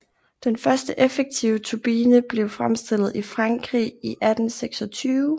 Den første effektive turbine blev fremstillet i Frankrig i 1826